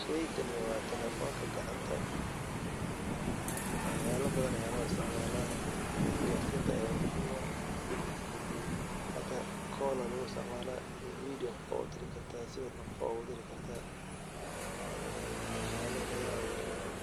Sheygan wa telefonka gacanta waxyalo badan aya loisticmala isgarsinta ayu muhiim uah hada kal wad udiri karta vedio wad udiri karta marka waxyalo badan loisticmala